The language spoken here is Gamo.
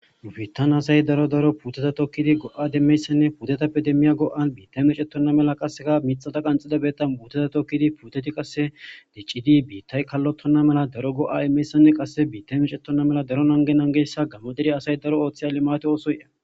nubiittan asay daro daro puteta tokkidi go7ademmeyssenne pudatappe demmiya go7a biitay micettonna mela qasseka mixata qanxida betta buuteta tokkidi puteti qasse diccidi biittay kallottonna mela daro go7a emmeyssenne qasse biittay micettonna mela daro nangenangessa gammoderi asay daro ooththeyale mate oosoye